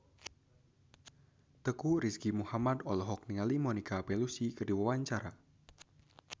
Teuku Rizky Muhammad olohok ningali Monica Belluci keur diwawancara